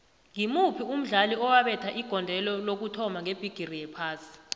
ngimuphi umdlali owabetha igondelo lokuthoma ngebhigiri yephasi